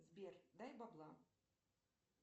сбер дай бабла